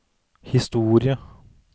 historie